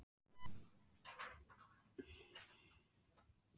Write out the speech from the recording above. Hleypa út á því þrýstingi með jöfnu bili.